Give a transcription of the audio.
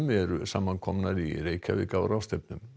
eru saman komnar í Reykjavík á ráðstefnu